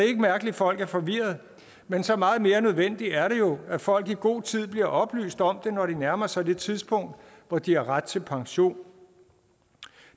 ikke mærkeligt at folk er forvirrede men så meget mere nødvendigt er det jo at folk i god tid bliver oplyst om det når de nærmer sig det tidspunkt hvor de har ret til pension